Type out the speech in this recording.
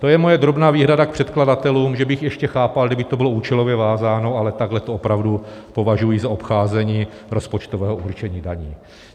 To je moje drobná výhrada k předkladatelům - že bych ještě chápal, kdyby to bylo účelově vázáno, ale takhle to opravdu považuji za obcházení rozpočtového určení daní.